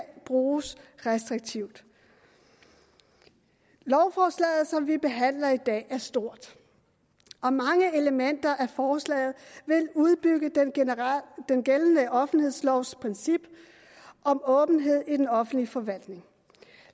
bruges restriktivt lovforslaget som vi behandler i dag er stort og mange elementer i forslaget vil udbygge den gældende offentlighedslovs princip om åbenhed i den offentlige forvaltning